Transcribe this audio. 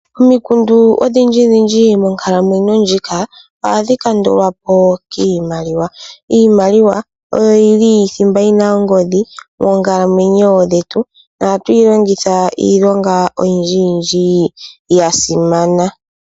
Omikundu odhindjidhindji monkalamwenyo ndjika, ohadhi kandulwa po kiimaliwa. Iimaliwa oyo yili thimba yi na ongodhi monkalamwenyo dhetu nohatu yi longitha iilonga oyindjiyindji ya simana.